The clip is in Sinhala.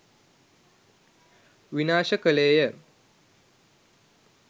විනාශ කළේය.